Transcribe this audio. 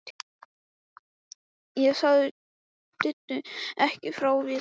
Ég sagði Diddu ekki frá Viðari.